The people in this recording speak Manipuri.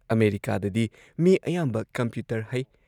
ꯑꯃꯦꯔꯤꯀꯥꯗꯗꯤ ꯃꯤ ꯑꯌꯥꯝꯕ ꯀꯝꯄ꯭ꯌꯨꯇꯔ ꯍꯩ ꯫